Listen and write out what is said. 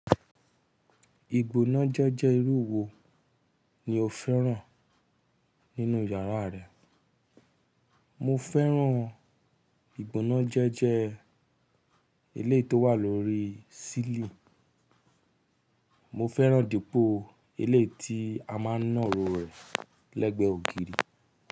Ìgbónájẹ́jẹ́ irú wo ni o fẹ́ràn nínú yàrá rẹ? Mo fẹ́ràn ìgbónájẹ́jẹ́ eléyìí tó wà lórí sílì. Mo fẹ́ràn dípò eléyìí tí a máa ń náro rẹ̀ lẹ́gbẹ̀ẹ́ ògiri.